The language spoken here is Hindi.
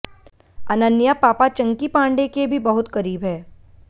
अनन्या पापा चंकी पांडे के भी बहुत करीब है